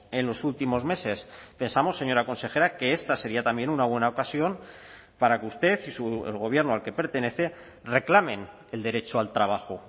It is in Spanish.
en los últimos meses pensamos señora consejera que esta sería también una buena ocasión para que usted y el gobierno al que pertenece reclamen el derecho al trabajo